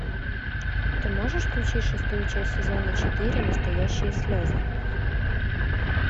ты можешь включить шестую часть сезона четыре настоящие слезы